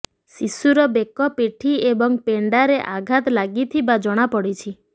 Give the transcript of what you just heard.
ଶିଶୁର ବେକ ପିଠି ଏବଂ ପେଣ୍ଡାରେ ଆଘାତ ଲାଗିଥିବା ଜଣାପଡିଛି